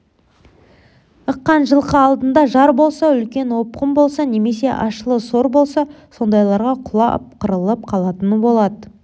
ыққан жылқы алдында жар болса үлкен опқын болса немесе ащылы сор болса сондайларға құлап қырылып қалатыны болады